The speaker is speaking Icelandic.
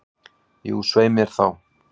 Jú, svei mér þá.